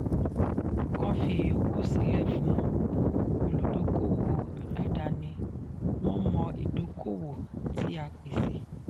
kán fi ìyókù sílẹ̀ fún olùdókoòwò aládaáni wọ́n mọ̀ ìdókoòwò tí a pèsè.